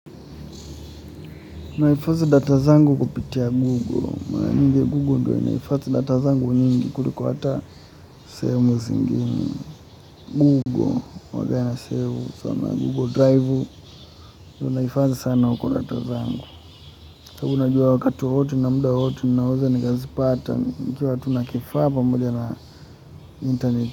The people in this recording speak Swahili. Nahifadhi data zangu kupitia Google. Mara nyingi Google ndo inahifadhi data zangu nyingi. Kuliko hata sehemu zingine. Google, huanga nasave sana. Google Drive. Ndio naifadhi sana uko data zangu. Saa hii unajua wakati wowote na muda wowote. Ninaweza nikazi pata. Nikiwa tu na kifaa pamoja na internet.